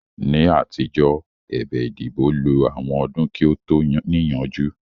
Ní àtijọ́, ẹ̀bẹ̀ ìdìbò lo àwọn ọdún kí ó tó níyanjú